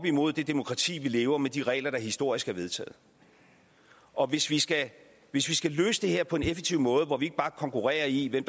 mod det demokrati vi lever i med de regler der historisk er vedtaget og hvis vi skal vi skal løse det her på en effektiv måde hvor vi ikke bare konkurrerer i hvem